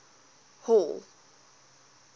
hall